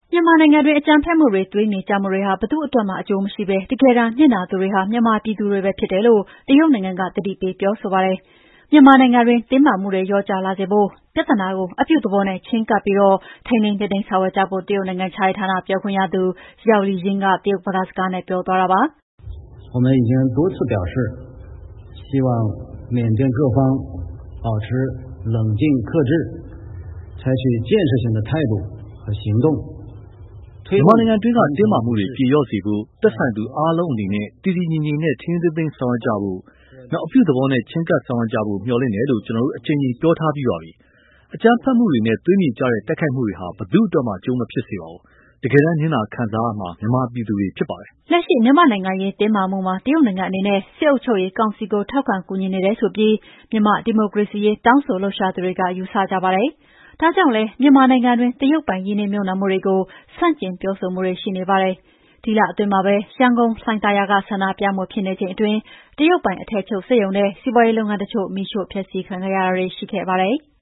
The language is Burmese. မြန်မာနိုင်ငံအတွင်း အကြမ်းဖက်မှုတွေ၊ သွေးမြေကျမှုတွေဟာ ဘယ်သူ့အတွက်မှ အကျိုးမရှိဘဲ တကယ်တမ်း နစ်နာသူတွေဟာ မြန်မာပြည်သူတွေပဲ ဖြစ်တယ်လို့ တရုတ်နိုင်ငံက သတိပေးပြောဆိုပါတယ်။ မြန်မာနိုင်ငံတွင်း တင်းမာမှုတွေ လျော့ကျလာစေဖို့ ပြဿနာကို အပြုသဘောနဲ့ ချည်းကပ်ပြီး ထိန်းသိမ်းဆောင်ရွက်ကြဖို့ တရုတ်နိုင်ငံခြားရေးဌာန ပြောခွင့်ရသူ Zhao Lijian က တရုတ်ဘာသာစကားနဲ့ ပြောသွားတာပါ။ “မြန်မာနိုင်ငံတွင်း တင်းမာမှုတွေ ပြေလျော့စေဖို့ သက်ဆိုင်သူအားလုံးအနေနဲ့ တည်တည်ငြိမ်ငြိမ်နဲ့ ထိန်းထိန်းသိမ်းသိမ်းဆောင်ရွက်ကြဖို့ အပြုသဘောနဲ့ ချည်းကပ်ဆောင်ရွက်ကြဖို့ မျှော်လင့်ပါတယ်လို့ ကျနော်တို့ အကြိမ်ကြိမ်ပြောထားပြီးပါပြီ။ အကြမ်းဖက်မှုတွေနဲ့ သွေးမြေကျတဲ့ တိုက်ခိုက်မှုတွေဟာ ဘယ်သူ့အတွက်မှ အကျိုးမဖြစ်စေပါဘူး။ တကယ်တမ်းနစ်နာခံစားရမှာ မြန်မာပြည်သူတွေဖြစ်ပါတယ်။” တရုတ်နိုင်ငံခြားရေးဌာနပြောခွင့်ရသူ ပြောသွားတာပါ။ လက်ရှိ မြန်မာ့နိုင်ငံရေး တင်းမာမှုမှာ တရုတ်နိုင်ငံအနေနဲ့ စစ်အုပ်ချုပ်ရေးကောင်စီကို ထောက်ခံကူညီနေတယ်ဆိုပြီး မြန်မာဒီမိုကရေစီရေးတောင်းဆိုလှုပ်ရှားသူတွေက ယူဆကြပါတယ်။ ဒါကြောင့်လည်း မြန်မာနိုင်ငံတွင်း တရုတ်ပိုင် ရင်းနှီးမြှုပ်နှံမှုတွေကို ဆန့်ကျင်ပြောဆိုမှုတွေ ရှိကြပါတယ်။ ဒီလအတွင်းမှာပဲ ရန်ကုန်လှိုင်သာယာက ဆန္ဒပြမှုဖြစ်နေချိန်အတွင်း တရုတ်ပိုင်အထည်ချုပ်စက်ရုံနဲ့ စီးပွားရေးလုပ်ငန်းတချို့ မီးရှို့ဖျက်ဆီးခံရတာတွေ ရှိခဲ့ပါတယ်။